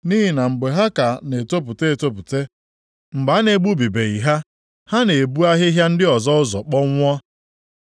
Nʼihi na mgbe ha ka na-etopụta etopụta, mgbe a na-egbubibeghị ha, ha na-ebu ahịhịa ndị ọzọ ụzọ kpọnwụọ.